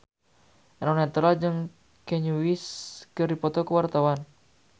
Eno Netral jeung Kanye West keur dipoto ku wartawan